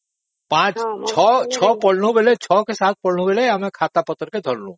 ପାଞ୍ଚ ଛଅ କି ସାତ ପଢିଲା ବେଳେ ଆମେ ଖାତାପତ୍ର ଧରିଲୁ